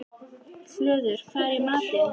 Hlöður, hvað er í matinn?